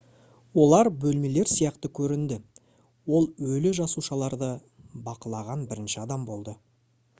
олар бөлмелер сияқты көрінді ол өлі жасушаларды бақылаған бірінші адам болды